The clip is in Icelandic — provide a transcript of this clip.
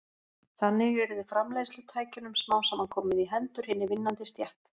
Þannig yrði framleiðslutækjunum smám saman komið í hendur hinni vinnandi stétt.